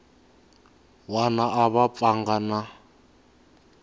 wana a va pfanga na